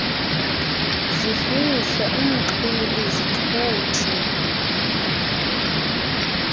zifihle umxhwili zithuthi